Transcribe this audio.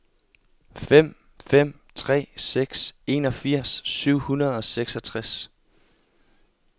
fem fem tre seks enogfirs syv hundrede og seksogtres